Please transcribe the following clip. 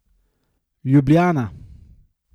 Ljubljana.